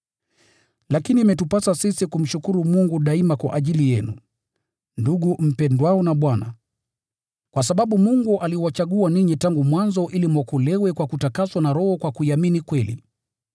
Lakini imetupasa sisi kumshukuru Mungu daima kwa ajili yenu, ndugu mpendwao na Bwana, kwa sababu Mungu aliwachagua ninyi tangu mwanzo ili mwokolewe kwa kutakaswa na Roho kwa kuiamini kweli.